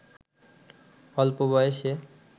অল্প বয়সে